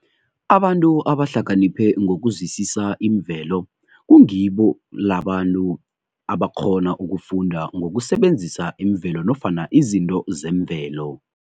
Abantu abahlakaniphe ngokuzwisisa imvelo kungilabo bantu abakghona ukufunda ngokusebenzisa imvelo nofana izinto zemvelo.